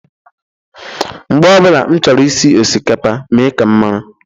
Mgbe ọ bụla m chọrọ isi osikapa mee ka m mara